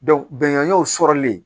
bɛnganw sɔrɔli